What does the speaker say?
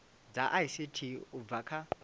dza ict u bva kha